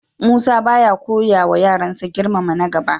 Musa ba ya koyawa yaransa girmama na gaba.